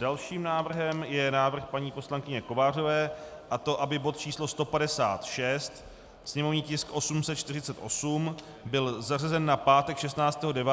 Dalším návrhem je návrh paní poslankyně Kovářové, a to aby bod číslo 156, sněmovní tisk 848, byl zařazen na pátek 16. 9.